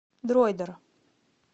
дроидер